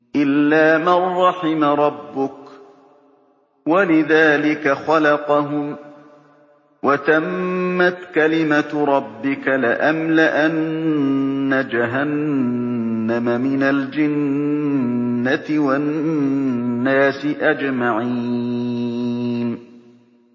إِلَّا مَن رَّحِمَ رَبُّكَ ۚ وَلِذَٰلِكَ خَلَقَهُمْ ۗ وَتَمَّتْ كَلِمَةُ رَبِّكَ لَأَمْلَأَنَّ جَهَنَّمَ مِنَ الْجِنَّةِ وَالنَّاسِ أَجْمَعِينَ